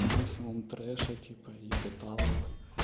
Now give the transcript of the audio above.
максимум треша типа до талого